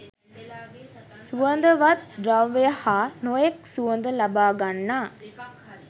සුවඳවත් ද්‍රව්‍ය හා නොයෙක් සුවඳ ලබා ගන්නා